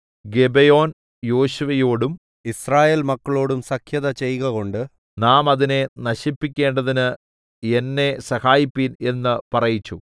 ഗിബെയോൻ യോശുവയോടും യിസ്രായേൽമക്കളോടും സഖ്യത ചെയ്കകൊണ്ട് നാം അതിനെ നശിപ്പിക്കേണ്ടതിന് എന്നെ സഹായിപ്പിൻ എന്ന് പറയിപ്പിച്ചു